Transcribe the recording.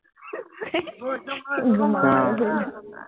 ঘুমাম আৰু শুই যাম